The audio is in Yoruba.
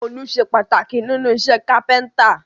Òòlù sé pàtàkì nínú isẹ́ Kápẹ́ńtà